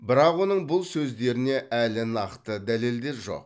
бірақ оның бұл сөздеріне әлі нақты дәлелдер жоқ